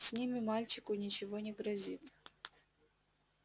с ними мальчику ничего не грозит